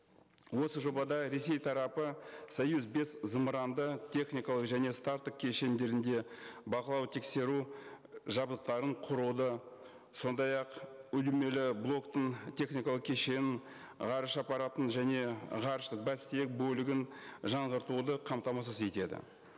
осы жобада ресей тарапы союз бес зымыранды техникалық және старттық кешендерінде бақылау тексеру жабдықтарын құруды сондай ақ блоктың техникалық кешенін ғарыш аппаратын және ғарыш бас тиек бөлігін жаңғыртуды қамтамасыз етеді